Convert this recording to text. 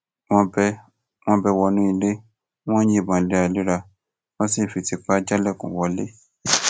wọn bẹ wọn bẹ wọnú ilé wọn ń yìnbọn léraléra wọn sì ń fi tìpá jálẹkùn wọlẹ